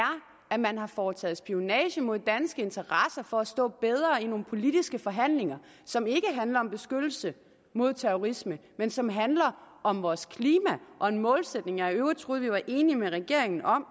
at man har foretaget spionage mod danske interesser for at stå bedre i nogle politiske forhandlinger som ikke handler om beskyttelse mod terrorisme men som handler om vores klima og en målsætning som jeg i øvrigt troede vi var enige med regeringen om